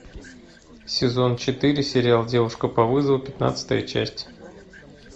сезон четыре сериал девушка по вызову пятнадцатая часть